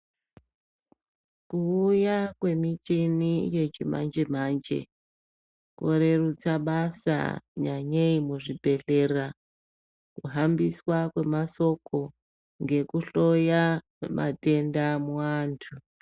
Kuuya kwemichini yechimanje manje kwarerusa basa nyanyei muzvibhedhlera kuhambiswa kwemashoko nekuhloya kwematenda muantu.